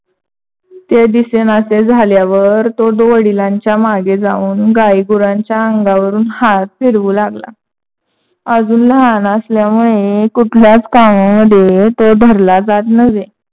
ते दिसेनसे झाल्यावर तो वडिलांच्या मागे जाऊन गाई गुरांच्या आंगावरुण हाथ फिरवू लागला. अजून लहान असल्यामुळे कुठल्याच कामामद्धे तो धरला जात नव्हे.